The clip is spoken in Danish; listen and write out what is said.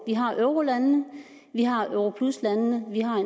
vi har eurolandene vi har europluslandene og vi har